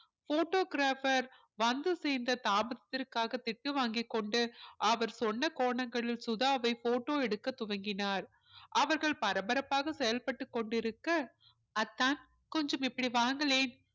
photographer வந்து சேர்ந்த தாமதத்திற்காக திட்டு வாங்கிக் கொண்டு அவர் சொன்ன கோணங்களில் சுதாவை photo எடுக்கத் துவங்கினார் அவர்கள் பரபரப்பாக செயல்பட்டுக் கொண்டிருக்க அத்தான் கொஞ்சம் இப்படி வாங்களேன்